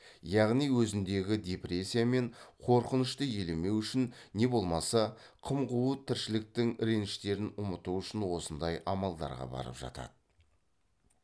яғни өзіндегі депрессия мен қорқынышты елемеу үшін не болмаса қым қуыт тіршіліктің реніштерін ұмыту үшін осындай амалдарға барып жатады